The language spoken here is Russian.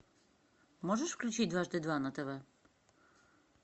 можешь включить дважды два на тв